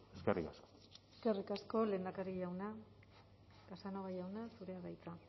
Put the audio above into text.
eskerrik asko eskerrik asko lehendakari jauna casanova jauna zurea da hitza